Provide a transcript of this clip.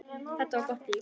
Þetta var gott líf.